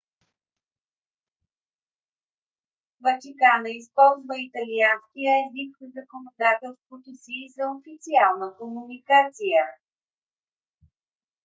ватикана използва италианския език в законодателството си и за официална комуникация